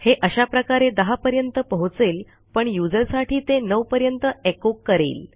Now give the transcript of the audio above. हे अशा प्रकारे 10पर्यंत पोहोचेल पण यूझर साठी ते 9 पर्यंत echoकरेल